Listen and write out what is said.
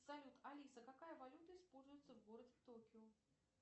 салют алиса какая валюта используется в городе токио